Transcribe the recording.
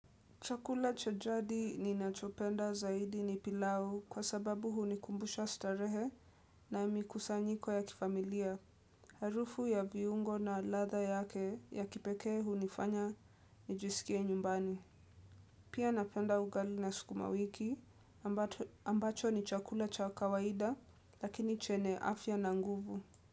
Chakula cha jadi ninachopenda zaidi ni pilau kwa sababu hunikumbusha starehe na mikusanyiko ya kifamilia. Harufu ya viungo na ladha yake ya kipekee hunifanya nijisikie nyumbani. Pia napenda ugali na sukuma wiki ambacho ni chakula cha kawaida lakini chenye afya na nguvu.